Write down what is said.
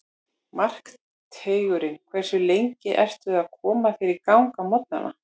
Markteigurinn Hversu lengi ertu að koma þér í gang á morgnanna?